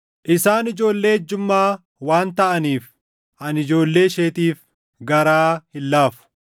Isaan ijoollee ejjummaa waan taʼaniif, ani ijoollee isheetiif garaa hin laafu.